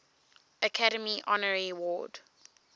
academy honorary award